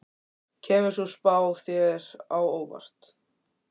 Kemur sú spá þér á óvart?